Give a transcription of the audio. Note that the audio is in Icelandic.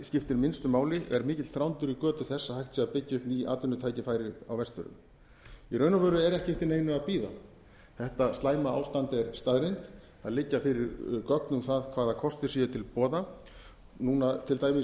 skiptir minnstu máli er mikill þrándur í götu þess að hægt sé að byggja upp ný atvinnutækifæri á vestfjörðum í raun og veru er ekki eftir neinu að bíða þetta slæma ástand er staðreynd það liggja fyrir gögn um það hvaða kostir séu til boða núna til dæmis